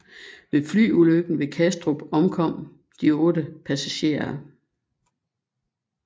Ved Flyulykken ved Kastrup omkom de 8 passagerer